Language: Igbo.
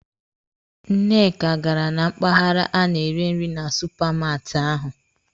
Nneka gara na mpaghara a na-ere nri na supamaati ahụ.